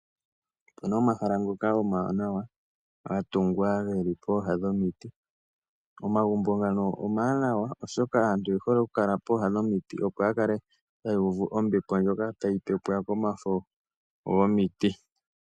Opu na omahala ngoka omawanawa ga tungwa geli pooha dhomiti. Omagumbo ngano omawanawa, oshoka aantu oye hole okukala pooha dhomiti opo ya kale taya uvu ombepo ndjoka tayi pepwa komafo gomiti.